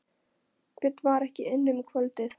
Björn var ekki inni um kvöldið.